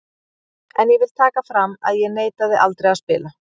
En ég vil taka fram að ég neitaði aldrei að spila.